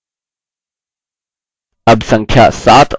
यदि आप टाइप करना रोक देते हैं speed गिनती घटती है